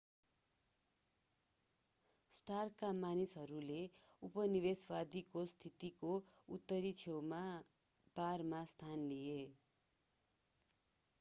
स्टार्कका मानिसहरूले उपनिवेशवादीको स्थितिको उत्तरी छेउमा बारमा स्थान लिए